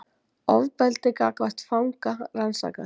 Ofbeldi gagnvart fanga rannsakað